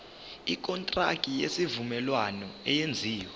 ikontraki yesivumelwano eyenziwe